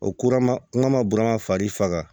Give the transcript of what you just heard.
Ora ma n ma burama farisanga